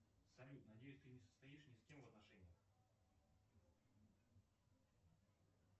салют надеюсь ты не состоишь ни с кем в отношениях